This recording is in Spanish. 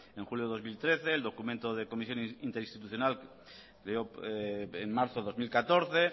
en julio dos mil trece el documento de comisiones interinstitucional en marzo dos mil catorce